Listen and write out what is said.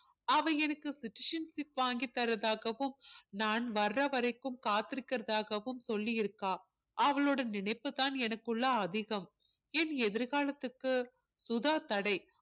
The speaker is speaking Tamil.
அவள் எனக்கு citizenship வாங்கித் தர்றதாகவும் நான் வர வரைக்கும் காத்திருக்கிறதாகவும் சொல்லியிருக்கா அவளோட நினைப்புதான் எனக்குள்ள அதிகம் என் எதிர்காலத்துக்கு சுதா தடை